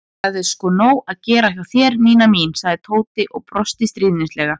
Það er sko nóg að gera hjá þér, Nína mín sagði Tóti og brosti stríðnislega.